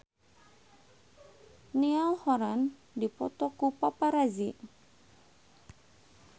Niall Horran dipoto ku paparazi